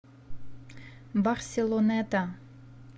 барселонэта